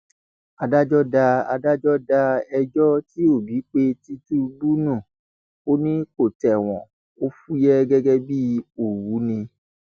adájọ da adájọ da ẹjọ tí òbí pe tìtùbù nù ó ní kó tẹwọn ò fúyẹ gẹgẹ bíi òwú ni